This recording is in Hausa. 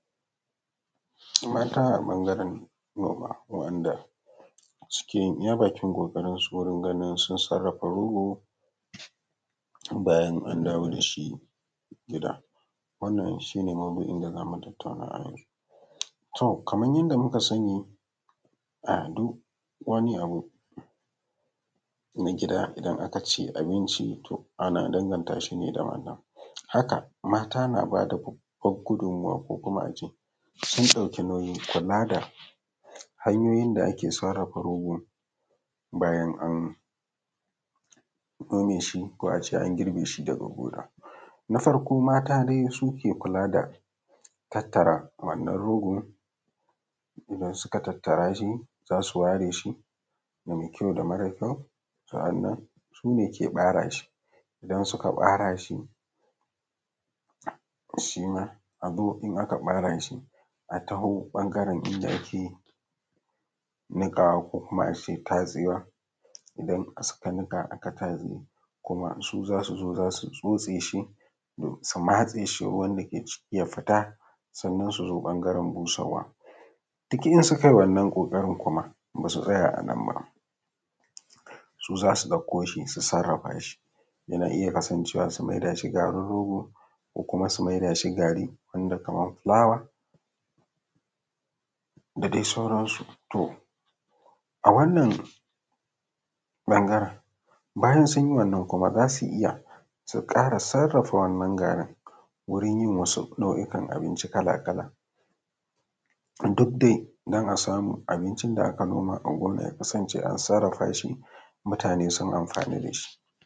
Mata a ɓangaren noma waɗanɗa suke iya bakin ƙokarin su wurin ganin sun sarafa rogo bayan an dawo dashi gida, wannan shi ne mawdu’in da zamu tattauna a yau, to kamar yadda muka sani a duk wani abu na gida idan aka ce abinci to ana danganta shi ne da wannan, haka mata na bada gudunmuwa ko kuma ace sun ɗauki nauyin kula da hanyoyin da ake sarafa rogo bayan an nome shi ko ace an girbe shi daga gona, na farko dai mata su ke kula da tattara wannan rogo idan suka tattara shi za su ware shi da mai kyau da mara kyau sa’anan su ke bare shi idan suka bare shi shima azo in aka bara shi a tawo ɓangaren inda ake yi nikawa ko kuma ace tatsewa idan suka nika kuma aka tatse kuma su zasu zo don su tsose shi su matse shi ruwan da ke ciki ya fita sannan su zo ɓangaren busar wa, duk idan suka yi kokarin kuma basu tsaya a nan bas u zasu ɗako shi su sarafa shi yana iya kasancewa su maida shi garin rogo ko kuma su mai dashi gari wanda kamar fulawa da dai sauran su, to a wannan ɓangaren bayan sun yi wannan kuma zasu iya su kara sarafa wannan garin wurin yin waɗansu nau’kan abinci kala-kala duk dai don a samu abincin da aka noma a gurin ya kasance an sarafa mutane sun amfana da shi.